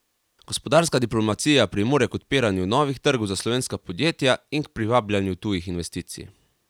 Gospodarska diplomacija pripomore k odpiranju novih trgov za slovenska podjetja in k privabljanju tujih investicij.